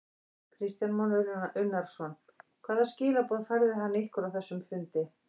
Kristján Már Unnarsson: Hvaða skilaboð færði hann ykkur á þessum fundi?